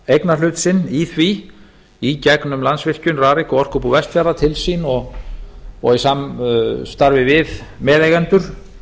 eignarhlut sinn í því í gegnum landsvirkjun rarik og orkubú vestfjarða til sín og í samstarfi við meðeigendur